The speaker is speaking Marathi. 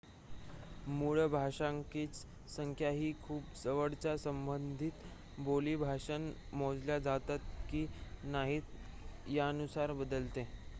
मूळ भाषकांची संख्या ही खूप जवळच्या संबंधित बोली भाषा मोजल्या जातात की नाहीत यानुसार बदलते